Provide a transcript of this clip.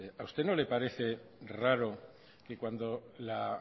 a usted no le parece raro que cuando la